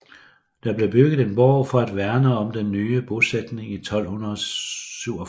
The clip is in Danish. Der blev bygget en borg for at værne om den nye bosætning i 1247